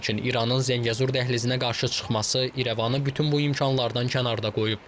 Lakin İranın Zəngəzur dəhlizinə qarşı çıxması İrəvanı bütün bu imkanlardan kənarda qoyub.